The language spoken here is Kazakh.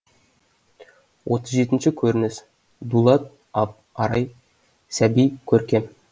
отыз жетінші көрініс дулат арай сәби көркем